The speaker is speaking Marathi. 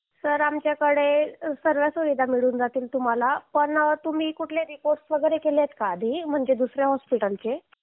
सर आमच्याकडे सगळ्यात सुविधा मिळून जातील तुम्हाला पण तुम्ही कुठला अहवाल वगैरे केले आहेत का म्हणजे दुसऱ्या रुग्णालय चे